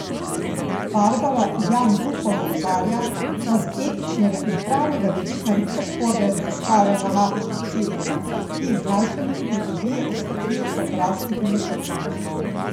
Barbara Jan Bufon opozarja, da z etičnega in pravnega vidika niso sporne raziskave na matičnih celicah, ki jih znanstveniki pridobijo iz tkiv odraslih in otrok.